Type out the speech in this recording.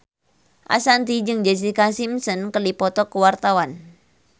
Ashanti jeung Jessica Simpson keur dipoto ku wartawan